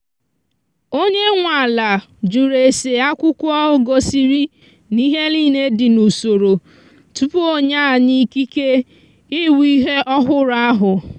onye nwe ala jụrụ ese akwụkwọ gosiri na ihe niile dị n’usoro tupu onye anyi ikike ịwụ ihe ọhụrụ ahụ.